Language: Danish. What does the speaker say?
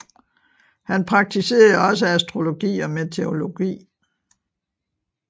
Han praktiserede også astrologi og meteorologi